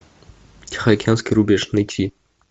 тихоокеанский рубеж найти